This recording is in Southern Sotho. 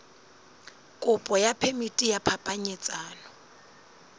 kopo ya phemiti ya phapanyetsano